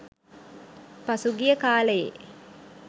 පසු ගිය කාලයේ